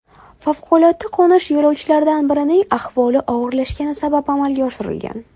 Favqulodda qo‘nish yo‘lovchilardan birining ahvoli og‘irlashgani sabab amalga oshirilgan.